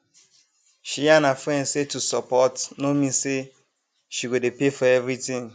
she yarn her friend say to support no mean say she go dey pay for everything